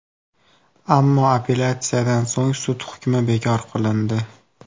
Ammo apellyatsiyadan so‘ng sud hukmi bekor qilindi.